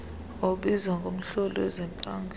obuzwa ngumhloli wezempangelo